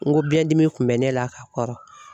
N ko biɲɛdimi kun bɛ ne la ka kɔrɔ.